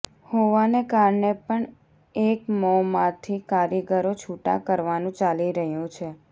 હોવાને કારણે પણ એકમોમાંથી કારીગરો છૂટાં કરવાનું ચાલી રહ્યું છે